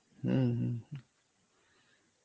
হম হম